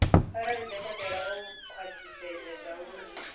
arali dokotela o khwathisedza zwauri